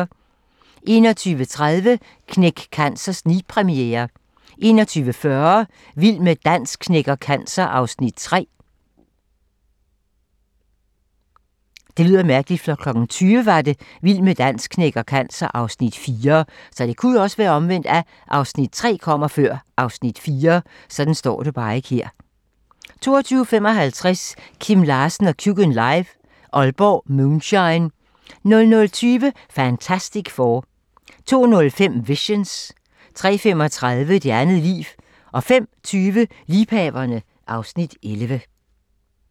21:30: Knæk Cancer snigpremiere 21:40: Vild med dans knækker cancer (Afs. 3) 22:55: Kim Larsen & Kjukken live - Aalborg Moonshine 00:20: Fantastic Four 02:05: Visions 03:35: Det Andet Liv 05:20: Liebhaverne (Afs. 11)